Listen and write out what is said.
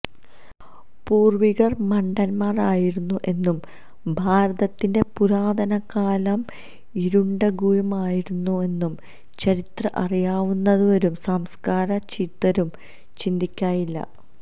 പൂര്വ്വികര് മണ്ടന്മാര് ആയിരുന്നു എന്നും ഭാരതത്തിന്റെ പുരാതന കാലം ഇരുണ്ടയുഗമായിരുന്നു എന്നും ചരിത്രം അറിയാവുന്നവരും സംസ്കാര ചിത്തരും ചിന്തിക്കയില്ല